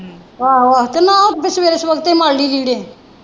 ਆਹੋ ਆਹੋ ਤੇ ਮੈਂ ਸਵੇਰੇ ਸਵੇਰੇ ਮੱਲ ਲ਼ਈ ਲੀੜੇ।